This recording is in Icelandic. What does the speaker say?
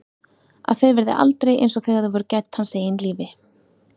Að þau verði aldrei einsog þegar þau voru gædd hans eigin lífi.